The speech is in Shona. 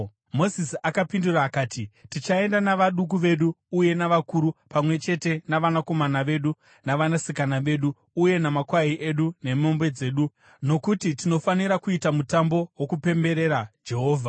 Mozisi akapindura akati, “Tichaenda navaduku vedu uye navakuru, pamwe chete navanakomana vedu navanasikana vedu, uye namakwai edu nemombe dzedu, nokuti tinofanira kuita mutambo wokupemberera Jehovha.”